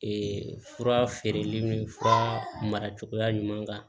fura feereli ni fura mara cogoya ɲuman kan